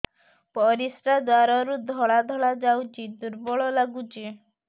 ପରିଶ୍ରା ଦ୍ୱାର ରୁ ଧଳା ଧଳା ଯାଉଚି ଦୁର୍ବଳ ଲାଗୁଚି